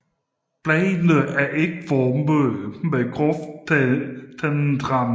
Bladene er ægformede med groft tandet rand